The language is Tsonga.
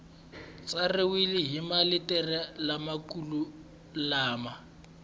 tsariwile hi maletere lamakulu lama